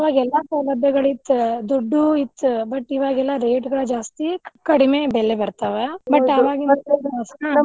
ಅವಾಗ ಎಲ್ಲಾ ಸೌಲಭ್ಯಗಳಿತ್ತ್ ದುಡ್ಡು ಇತ್ತ್ but ಇವಗೆಲ್ಲಾ rate ಗಳ್ ಜಾಸ್ತಿ ಕಡಿಮೆ ಬೆಲೆ ಬರ್ತಾವ .